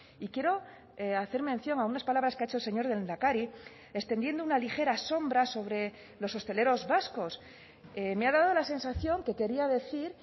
y quiero hacer mención a unas palabras que ha hecho el señor lehendakari extendiendo una ligera sombra sobre los hosteleros vascos me ha dado la sensación que quería decir